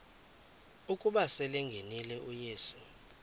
ukuba selengenile uyesu